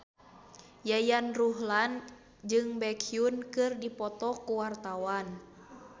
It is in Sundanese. Yayan Ruhlan jeung Baekhyun keur dipoto ku wartawan